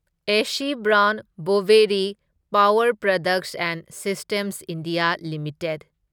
AC Brown Boveri power products and systems India limited